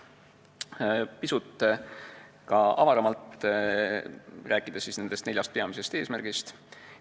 Räägin nüüd pisut avaramalt nendest neljast peamisest eesmärgist.